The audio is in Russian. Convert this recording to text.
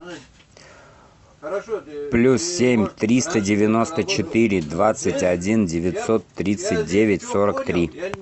плюс семь триста девяносто четыре двадцать один девятьсот тридцать девять сорок три